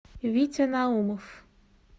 витя наумов